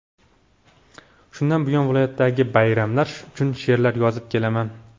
Shundan buyon viloyatdagi bayramlar uchun she’rlar yozib kelaman.